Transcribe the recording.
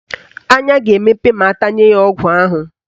Anya ga-emepe ma atanye ya ọgwụ ahụ